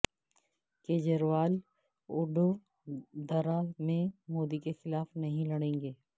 کجریوال وڈودرا میں مودی کے خلاف نہیں لڑیں گے